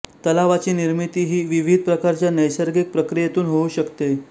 तलावाची निर्मिती ही विविध प्रकारच्या नैसर्गिक प्रक्रियेतून होऊ शकते